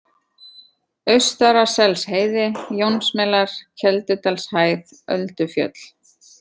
Austaraselsheiði, Jónsmelar, Keldudalshæð, Öldufjöll